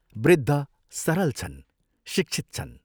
वृद्ध सरल छन्, शिक्षित छन्।